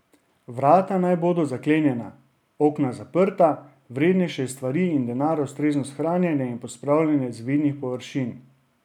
Vrata naj bodo zaklenjena, okna zaprta, vrednejše stvari in denar ustrezno shranjene in pospravljene z vidnih površin.